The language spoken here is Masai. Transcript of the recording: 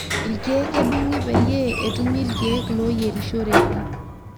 ilkiek edung'I peyie etumi ilkiek loyierishoreki